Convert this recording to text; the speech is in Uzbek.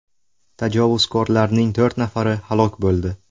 Tajovuzkorlarning to‘rt nafari halok bo‘ldi.